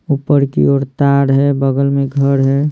ऊपर की ओर तार है बगल में घर है।